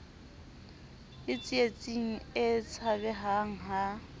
le tsietsing e tshabehang ha